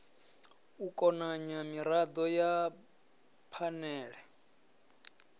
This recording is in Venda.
u konanya mirado ya phanele